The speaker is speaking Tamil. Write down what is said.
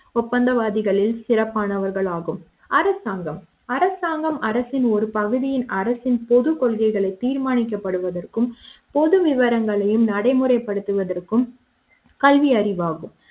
ஒப்பந்த வாதிகளில் சிறப்பானவர்கள் ஆகும் அரசாங்கம் அரசாங்கம் அரசின் ஒரு பகுதி அரசின் பொதுக்கொள்கைகளைத் தீர்மானிக்கப்படுவது இருக்கும் பொது விவரங்களையும் நடைமுறைப்படுத்துவதற்கும் கல்வியறிவாகும்